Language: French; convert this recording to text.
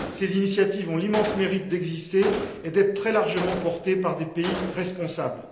Ces initiatives ont l'immense mérite d'exister et d'être très largement portées par des pays responsables.